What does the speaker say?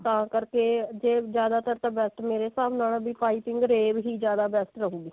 ਤਾਂ ਕਰਕੇ ਜੇ ਜਿਆਦਾ ਤਰ ਤਾਂ best ਮੇਰੇ ਹਿਸਾਬ ਨਾਲ ਪਾਈਪਿੰਨ rave ਹੀ ਜਿਆਦਾ best ਰਹੂਗੀ